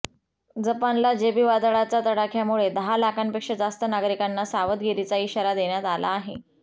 जपानला जेबी वादळचा तडाख्यामुळे दहा लाखांपेक्षा जास्त नागरिकांना सावधगिरीचा इशारा देण्यात आला आहे